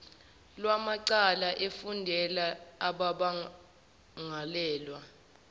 lwamacala efundela abamangalelwa